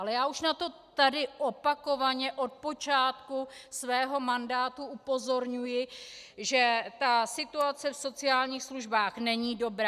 Ale já už na to tady opakovaně od počátku svého mandátu upozorňuji, že ta situace v sociálních službách není dobrá.